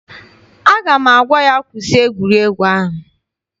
Aga m agwa ya, kwụsị egwuregwu ahụ!